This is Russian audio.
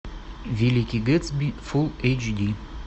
великий гэтсби фул эйч ди